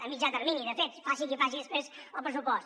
a mitjà termini de fet faci qui faci després el pressupost